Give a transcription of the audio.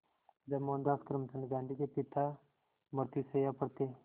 जब मोहनदास करमचंद गांधी के पिता मृत्युशैया पर थे